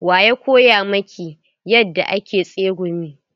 Wa ya koya miki yadda ake tsegumi?